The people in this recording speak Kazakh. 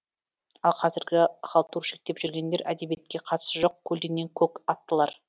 ал қазіргі халтурщик деп жүргендер әдебиетке қатысы жоқ көлденең көк аттылар